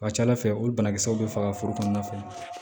A ka ca ala fɛ olu banakisɛw bɛ faga foro kɔnɔna na fɛnɛ